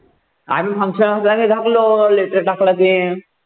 आम्ही function असलं की letter टाकलं की